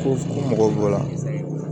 Ko mɔgɔw b'o la